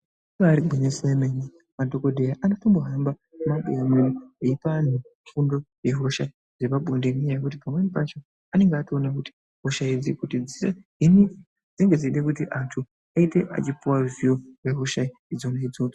Ibaari gwinyiso yemene, madhokodheya anotombohamba mumabuya mwedumwo, eipa anhu fundo yehosha yepabonde. Pamweni pacho anenge Altoona kuti hosha idzi kuti dzihiniwe dzinenge dzeide kuti anhu aite achipiwa zivo yehosha dzona idzodzo.